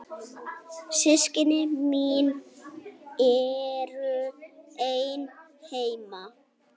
Systkini mín eru ein heima.